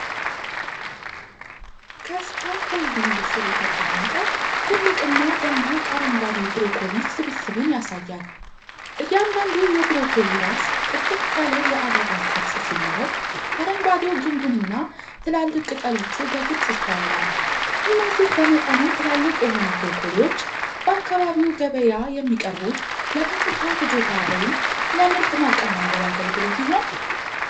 ከስካፎልዲንግ ስር የተቀመጠ ትልቅና ደማቅ አረንጓዴ ብሮኮሊ ስብስብን ያሳያል። እያንዳንዱ የብሮኮሊ ራስ ጥቅጥቅ ያለ የአበባ ቅርጽ ሲኖረው፤ አረንጓዴው ግንዱና ትላልቅ ቅጠሎቹ በግልጽ ይስተዋላል። እነዚህ በመጠኑ ትላልቅ የሆኑ ብሮኮሊዎች በአካባቢው ገበያ የሚቀርቡት ለቀጥታ ፍጆታ ወይም ለምርት ማቀነባበሪያ አገልግሎት ይሆን?